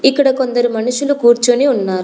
ఇక్కడ కొందరు మనుషులు కూర్చొని ఉన్నారు.